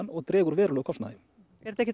og dregur verulega úr kostnaði er þetta ekki